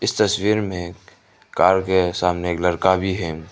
इस तस्वीर में कार के सामने एक लड़का भी है।